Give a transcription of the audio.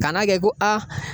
Kan'a kɛ ko a